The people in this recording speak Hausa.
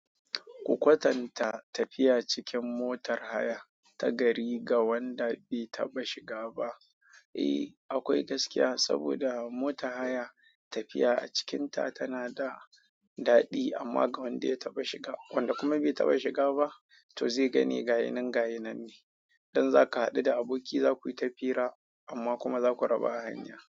Ku kwatanta tafiya cikin motar haya ta gari ga wanda bai taɓa shiga ba. Eh, akwai gaskiya saboda motar haya tafiya a cikinta tana da daɗi amma ga wanda ya taba shiga wanda kuma bai taba shiga ba zai me gayi gayi nan ne dan za ka haɗu da aboki za ku yi ta fira amma kuma za ku raba hanya.